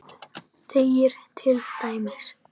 segir til dæmis